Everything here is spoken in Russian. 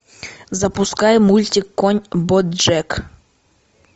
запускай мультик конь боджек